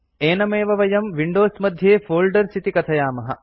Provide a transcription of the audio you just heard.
एनमेव वयं विंडोज मध्ये फोल्डर्स् इति कथयामः